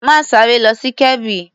Má ṣeré lọ sí Kebbi.